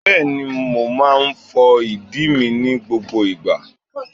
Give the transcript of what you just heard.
Bẹ́ẹ̀ni, mo máa ń fọ ìdíi mi ní gbogbo ìgbà.